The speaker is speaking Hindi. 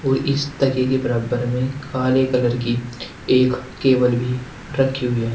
इस तकिए की बराबर में काले कलर की एक केबल भी रखी हुई है।